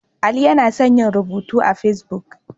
Ali yana son yin rubutu a Fesbuk.